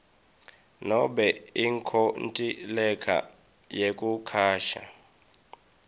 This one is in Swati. nobe inkontileka yekucasha